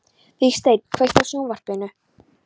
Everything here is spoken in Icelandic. Vígsteinn, kveiktu á sjónvarpinu.